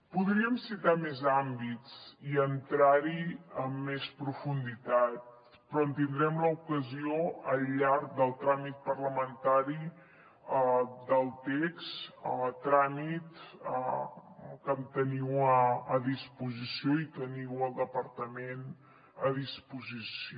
podríem citar més àmbits i entrar hi amb més profunditat però en tindrem l’ocasió al llarg del tràmit parlamentari del text a tràmit que el teniu a disposició i teniu el departament a disposició